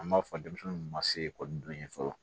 An b'a fɔ denmisɛnninw ma se ekɔliden ye fɔlɔ